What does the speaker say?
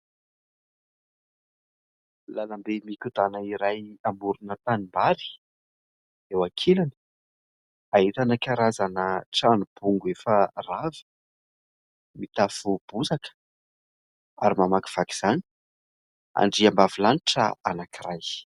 Lalambe mikodàna iray amorona tanimbary. Eo ankilany, ahitana karazana trano bongo efa rava, mitafo bozaka. Ary mamakivaky izany andriambavy lanitra anankiray.